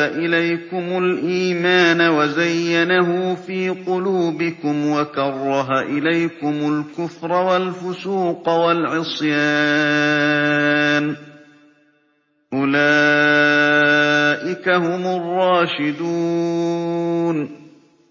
إِلَيْكُمُ الْإِيمَانَ وَزَيَّنَهُ فِي قُلُوبِكُمْ وَكَرَّهَ إِلَيْكُمُ الْكُفْرَ وَالْفُسُوقَ وَالْعِصْيَانَ ۚ أُولَٰئِكَ هُمُ الرَّاشِدُونَ